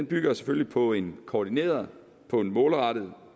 bygger selvfølgelig på en koordineret målrettet